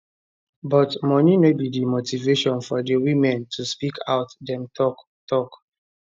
but money no be di motivation for di women to speak out dem tok tok